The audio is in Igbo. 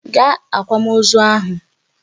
Gaa akwamozu ahụ!